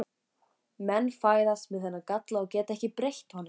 Menn fæðast með þennan galla og geta ekki breytt honum.